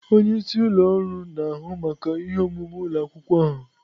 Onye isi ụlọ ọrụ na-ahụ maka ihe omume ụlọ akwụkwọ ahụ.